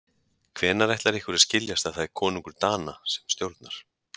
Hvenær ætlar ykkur að skiljast að það er konungur Dana sem stjórnar.